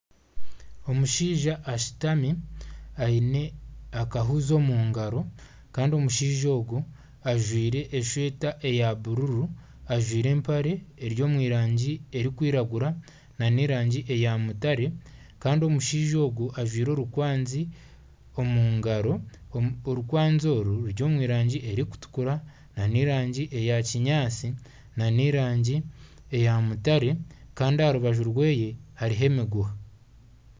Omushaija ashutami aine akahuuzi omu ngaro Kandi omushaija ogu ajwire eshweta ya buruuru, ajwire empare eri omurangi erikwiragura na ne rangi ya mutare Kandi omushaija ogu ajwire orukwanzi omu ngaro. Orukwanzi our ruri omurangi erikutukura ne rangi ya kinyaatsi na n'erangi eya mutare Kandi aharubaju rweye hariho emiguha.